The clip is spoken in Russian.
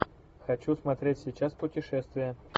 хочу смотреть сейчас путешествия